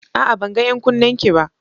A'a! Ban ga 'yan kunnenki ba.